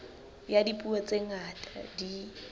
ya dipuo tse ngata di